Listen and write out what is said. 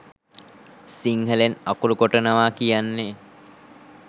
සිංහලෙන් අකුරු කොටනවා කියන්නේ